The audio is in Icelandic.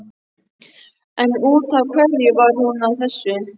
En út af hverju var hún að þessu?